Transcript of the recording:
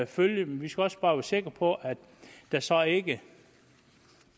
følge men vi skal også bare være sikre på at der så ikke